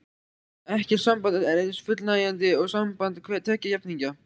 Ekkert samband er eins fullnægjandi og samband tveggja jafningja.